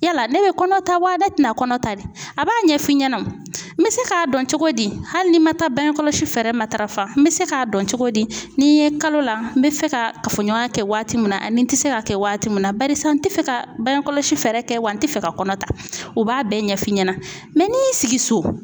Yala ne bɛ kɔnɔ ta wa ne tɛna kɔnɔ ta de a b'a ɲɛ f'i ɲɛna n bɛ se k'a dɔn cogo di hali ni man taa bange kɔlɔsi fɛɛrɛ matarafa n bɛ se k'a dɔn cogo di ni n ye kalo la n bɛ fɛ ka kafoɲɔgɔnya kɛ waati min na ani n tɛ se k'a kɛ waati min na barisa n tɛ fɛ ka bange kɔlɔsi fɛɛrɛ kɛ wa n tɛ fɛ ka kɔnɔ ta o b'a bɛɛ ɲɛf'i ɲɛna n'i y'i sigi so